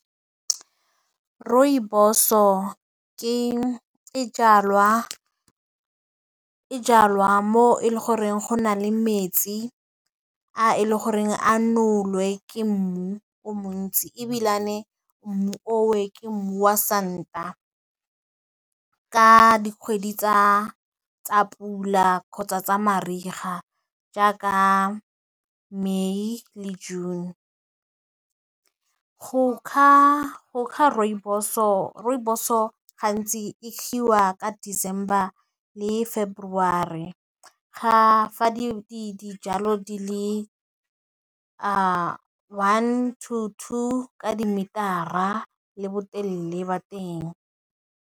Rooibos-o e jalwa mo e le goreng go na le metsi a e le goreng a nowle ke mmu o montsi ebilane mmu o ke mmu wa santa ka dikgwedi tsa pula kgotsa tsa mariga jaaka May le June. Go kga rooibos-o gantsi e ka December le February fa dijalo di le one to two ka di meter-a ka botelele ba teng.